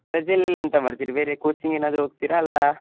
ರಜೆಯಲ್ಲಿ ಎಂತ ಮಾಡ್ತೀರಿ ಬೇರೆ coaching ಎನಾದ್ರು ಹೋಗ್ತಿರಾ ಅಲ್ಲಾ.